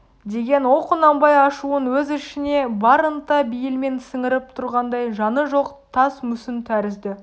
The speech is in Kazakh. деген ол құнанбай ашуын өз ішіне бар ынта бейілмен сіңіріп тұрғандай жаны жоқ тас мүсін тәрізді